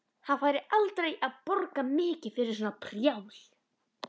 Hann færi aldrei að borga mikið fyrir svona prjál.